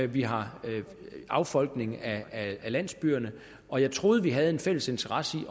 vi har affolkning af landsbyerne og jeg troede vi havde en fælles interesse i